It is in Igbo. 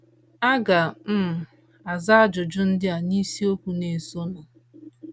A ga um - aza ajụjụ ndị a n’isiokwu na - esonụ.